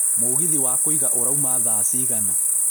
mũgithi wa kũiga ũrauma thaa cigana